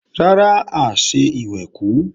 Rárá, a ò ṣe ìwẹ̀kú